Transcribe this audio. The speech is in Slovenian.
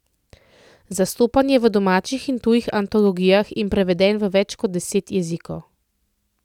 Zastopan je v domačih in tujih antologijah in preveden v več kot deset jezikov.